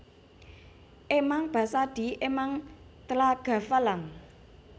Emang basadi emang tlhagafalang